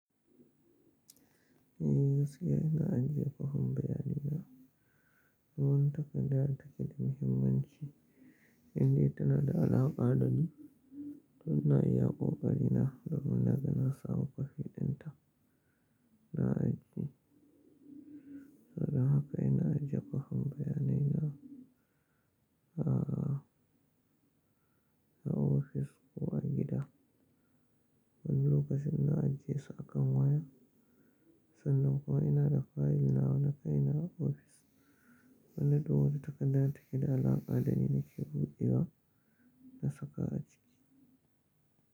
Eh, gaskiya ina ajiye kwafin bayanaina. Duk wani takarda da take da muhimmanci indai tana da alaƙa dani, to ina iya ƙoƙari na domin na ga na samu kwafi ɗinta na ajiye. Saboda haka ina ajiye kwafin bayanaina a, a ofis. Ko a gida. Wani lokacin ina ajiye su akan waya, sannan kuma ina da file nawa na kai na a office. Wannan duk wata takarda da take da alaƙa dani nake buɗewa na saka a ciki.